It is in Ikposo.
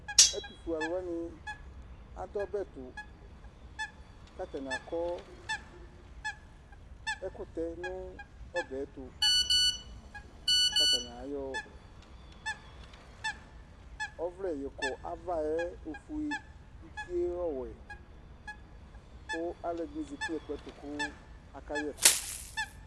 Ɛtufue aluwani adu ɔbɛtu katani akɔ ɛkutɛ nu ɔbɛtu katani ayɔ ɔvlɛ yɔkɔ avɛ ofue utie ɔwɛ ku aluɛdini zati nu ɛkplɔ tu kaka yɛ ɛku